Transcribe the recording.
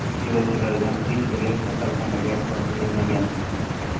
Yo‘lovchilardan hech biri kasalxonaga yotqizilmagan.